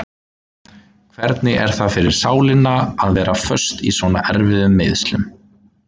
Hvernig er það fyrir sálina að vera föst í svona erfiðum meiðslum?